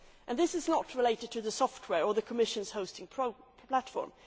right. This is not related to the software or the Commission's hosting platform.